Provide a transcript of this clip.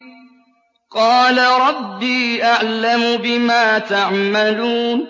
قَالَ رَبِّي أَعْلَمُ بِمَا تَعْمَلُونَ